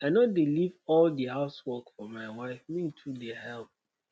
i no dey leave all di house work for my wife me too dey helep.